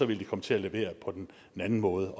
ville de komme til at levere på den anden måde